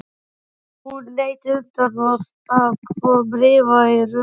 Hún lét undan og það kom rifa á rökkrið.